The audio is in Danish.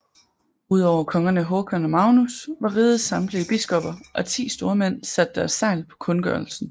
Udover kongerne Håkan og Magnus har rigets samtlige biskopper og ti stormænd sat deres segl på kundgørelsen